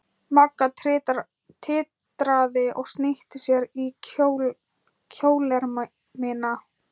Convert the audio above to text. Magga titraði og snýtti sér í kjólermina.